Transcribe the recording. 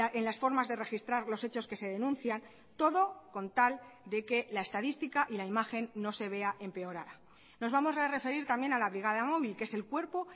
en las formas de registrar los hechos que se denuncian todo con tal de que la estadística y la imagen no se vea empeorada nos vamos a referir también a la brigada móvil que es el cuerpo